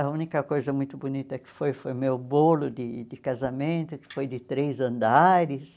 A única coisa muito bonita que foi, foi meu bolo de de casamento, que foi de três andares.